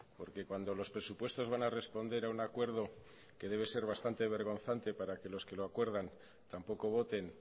porque cuando los presupuestos van a responder a un acuerdo que debe ser bastante vergonzante para que los que lo acuerdan tampoco voten